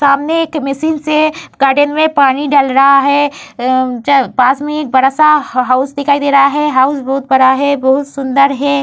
सामने एक मशीन से गार्डन में पानी डल रहा है। पास ही में एक बडा-सा हाउस दिखाई दे रहा है। हाउस बहोत बड़ा है सुंदर है।